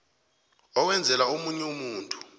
owenzela omunye umuntu